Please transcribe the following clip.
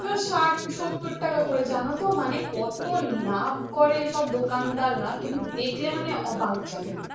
ষাট সত্তর করে জানো তো কত মানে কত লাভ করে এই সব দোকানদার রা তুমি দেখলে অবাক হয়ে যাবে।